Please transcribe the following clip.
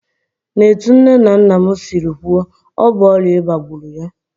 N'etu nne na nna m siri kwuo, ọ bụ ọrịa ịba gburu ya